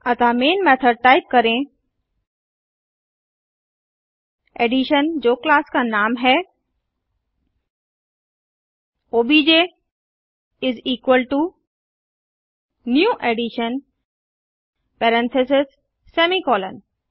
अतः main method में type करें एडिशन जो क्लास का नाम है ओबीजे इस equal to new addition parentheses semicolon